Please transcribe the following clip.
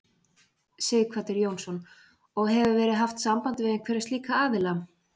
Sighvatur Jónsson: Og hefur verið haft samband við einhverja slíka aðila?